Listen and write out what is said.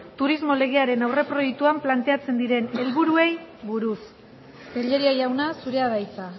turismo legearen aurreproiektuan planteatzen diren helburuei buruz tellería jauna zurea da hitza